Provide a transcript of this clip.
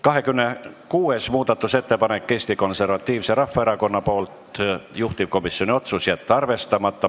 26. muudatusettepanek on Eesti Konservatiivselt Rahvaerakonnalt, juhtivkomisjoni otsus: jätta arvestamata.